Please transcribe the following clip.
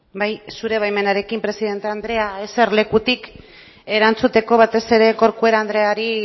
bai zure baimenarekin presidente andrea eserlekutik erantzuteko batez ere corcuera andreari